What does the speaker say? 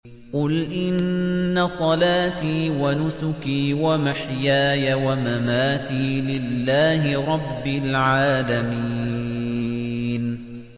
قُلْ إِنَّ صَلَاتِي وَنُسُكِي وَمَحْيَايَ وَمَمَاتِي لِلَّهِ رَبِّ الْعَالَمِينَ